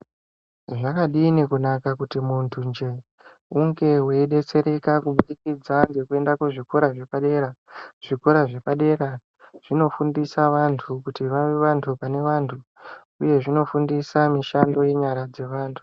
Zvakadini kunaka kuti munhu njee hunger weibetsereka kubudikidza nekuenda kuzvikora zvepadera dera zvikora zvepadera zvinofundisa vantu kuti vave vantu pane vantu uye zvinofundisa mishando yenyara dzevantu .